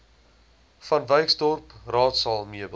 vanwyksdorp raadsaal meubels